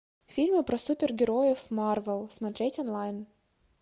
фильмы про супергероев марвел смотреть онлайн